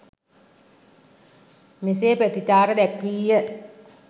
මෙසේ ප්‍රතිචාර දැක්විය